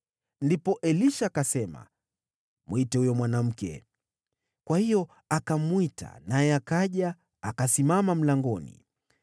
Ndipo Elisha akasema, “Mwite huyo mwanamke.” Kwa hiyo akamwita, naye akaja akasimama mlangoni.